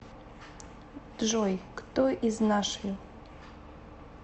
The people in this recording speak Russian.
джой кто из нашвилл